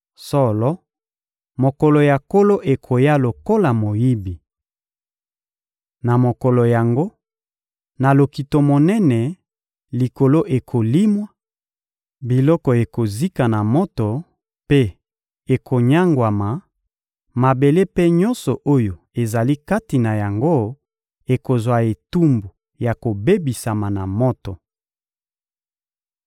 Solo, mokolo ya Nkolo ekoya lokola moyibi. Na mokolo yango, na lokito monene, Likolo ekolimwa, biloko ekozika na moto mpe ekonyangwama, mabele mpe nyonso oyo ezali kati na yango ekozwa etumbu ya kobebisama na moto.